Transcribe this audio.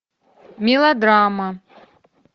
мелодрама